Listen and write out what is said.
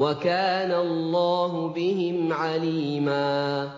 وَكَانَ اللَّهُ بِهِمْ عَلِيمًا